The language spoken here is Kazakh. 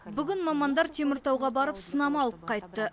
бүгін мамандар теміртауға барып сынама алып қайтты